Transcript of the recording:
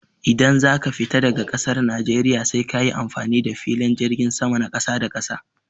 Idan zaka fita daga ƙasar najeriya sai kayi amfani da filin jirgin sama na ƙasa da ƙasa.